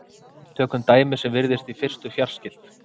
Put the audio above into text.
Tökum dæmi sem virðist í fyrstu fjarskylt.